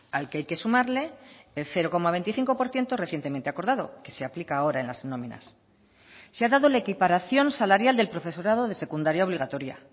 al que hay que sumarle el cero coma veinticinco por ciento recientemente acordado que se aplica ahora en las nóminas se ha dado la equiparación salarial del profesorado de secundaria obligatoria